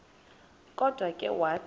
kodwa ke wathi